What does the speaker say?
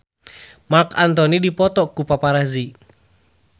Marc Anthony dipoto ku paparazi